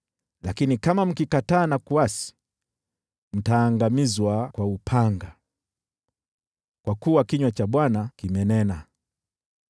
lakini kama mkikataa na kuasi, mtaangamizwa kwa upanga.” Kwa kuwa kinywa cha Bwana kimenena.